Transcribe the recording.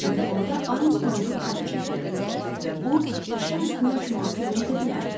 Çünki orda Armstrongun adı çəkilirdi və bu işin üstünü açmağa kömək edə bilərdi.